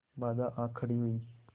बाधाऍं आ खड़ी हुई